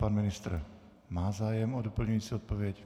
Pan ministr má zájem o doplňující odpověď.